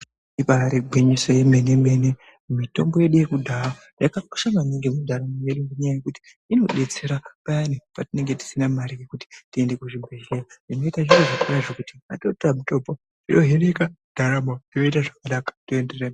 Ibari gwinyiso remene mene mitombo yedu yekudhaya yakakosha maningi mundaramo mwedu nekuti inodetsera payani patinenge tisina mari kuti tiende kuzvibhedhlera tinoita zvekuti patinotora mitombo yohinika ndaramo yoenderere mberi.